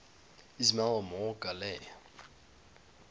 ismail omar guelleh